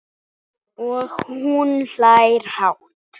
Og hún hlær hátt.